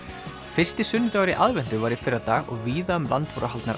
fyrsti sunnudagur í aðventu var í fyrradag og víða um land voru haldnar